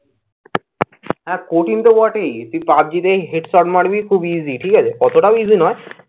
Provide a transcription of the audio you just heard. হ্যাঁ কঠিন তো বটেই। তুই পাবজিতে head shot মারবি খুব easy ঠিক আছে। এতটাও easy নয়